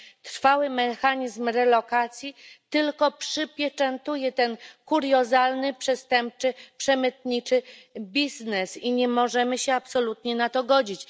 Trwały mechanizm relokacji tylko przypieczętuje ten kuriozalny, przestępczy przemytniczy biznes i nie możemy się absolutnie na to godzić.